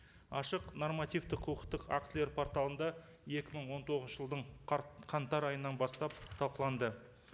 ашық нормативті құқықтық актілер порталында екі мың он тоғызыншы жылдың қаңтар айынан бастап талқыланды